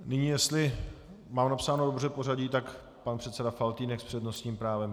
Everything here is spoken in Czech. Nyní, jestli mám napsáno dobře pořadí, tak pan předseda Faltýnek s přednostním právem.